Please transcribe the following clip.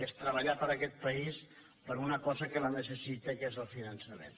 és treballar per aquest país per una cosa que la necessita que és el finançament